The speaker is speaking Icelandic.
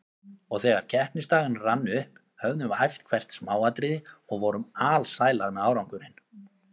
Og þegar keppnisdagurinn rann upp höfðum við æft hvert smáatriði og vorum alsælar með árangurinn.